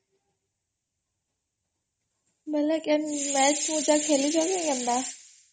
noise overlap ବୋଲେ match କାଇଁ ଖେଲଚ କି କେନତା